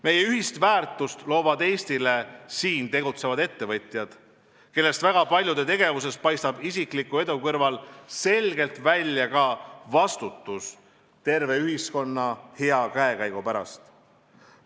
Meie ühist väärtust loovad Eestile siin tegutsevad ettevõtjad, kellest väga paljude tegevuses paistab isikliku edu kõrval selgelt välja ka vastutus terve ühiskonna hea käekäigu eest.